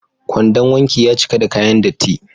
Kwandon wanki ya cika da kayan datti.